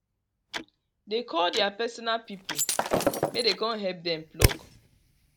dey call their personal people may den con help dem pluck